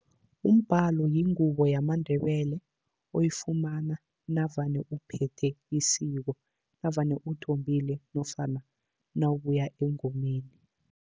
Umbhalo yingubo yamaNdebele oyifumana navane uphethe isiko navane uthombile nofana nawabuya engomeni.